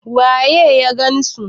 waye ya gansu